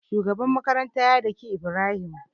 Shugaban makaranta ya dake ibrahim